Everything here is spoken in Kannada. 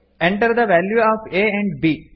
enter the value of a and B